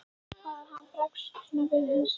Hvað ef hann bregst nú svona við eða hinsegin?